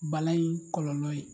Bana in kɔlɔlɔ ye